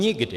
Nikdy!